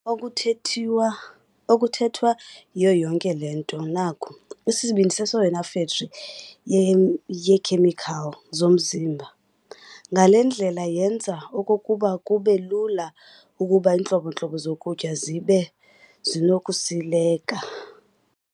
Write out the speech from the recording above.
Okuthethwa yiyo yonke le nto naku- Isibindi siyeyona fekthri yeekhemikhali zomzimba. Ngale ndlela yenza okokuba kube lula ukuba iintlobo-ntlobo zokutya zibe zinokusileka.